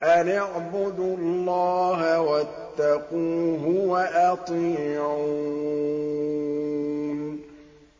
أَنِ اعْبُدُوا اللَّهَ وَاتَّقُوهُ وَأَطِيعُونِ